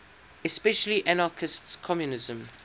especially anarchist communism